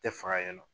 Tɛ faga yen nɔ